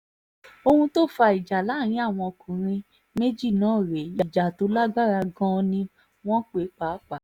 ohun tó fa ìjà láàrin àwọn ọkùnrin méjì náà rèé ìjà tó lágbára gan-an ni wọ́n pè é pàápàá